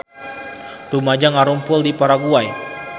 Rumaja ngarumpul di Paraguay